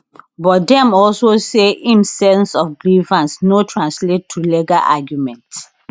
but dem also say im sense of grievance no translate to legal argument